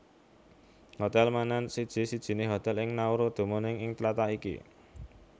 Hotel Menen siji sijiné hotel ing Nauru dumunung ing tlatah iki